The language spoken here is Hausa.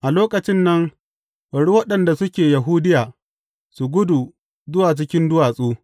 A lokacin nan, bari waɗanda suke Yahudiya, su gudu zuwa cikin duwatsu.